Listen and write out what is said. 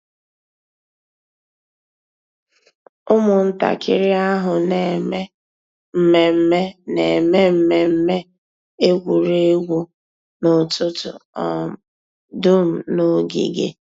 Ụ́mụ̀ntàkìrì àhụ̀ nà-èmé mmẹ̀mmẹ̀ nà-èmé mmẹ̀mmẹ̀ ègwè́ré́gwụ̀ n'ụ́tụ̀tụ̀ um dùm n'ògìgè.